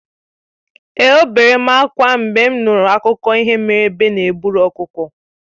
È obere m ákwá mgbe m nụrụ akụkọ ihe mere egbe na-eburu ọkụkọ